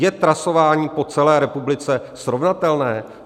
Je trasování po celé republice srovnatelné?